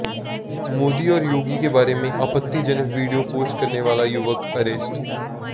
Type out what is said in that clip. मोदी और योगी के बारे में आपत्तिजनक वीडियो पोस्ट करने वाला युवक अरेस्ट